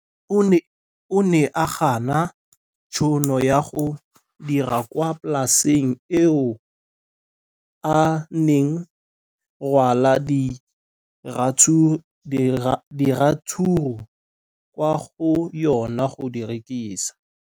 O ne a gana tšhono ya go dira kwa polaseng eo a neng rwala diratsuru kwa go yona go di rekisa.